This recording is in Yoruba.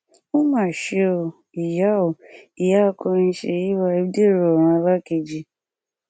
ó mà ṣe o ìyá o ìyá akọrin sèyí vibe dẹrọ ọrun alákeji